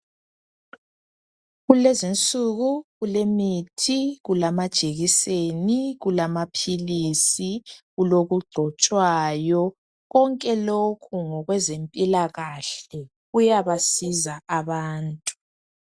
Kulezinsuku kulemithi, kulamajekiseni , kulamaphilisi kulokugcotshwayo konke lokhu ngokwezempilakahle kuyabasiza abantu.